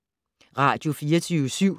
Radio24syv